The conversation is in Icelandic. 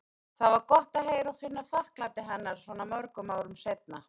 Það var gott að heyra og finna þakklæti hennar svona mörgum árum seinna.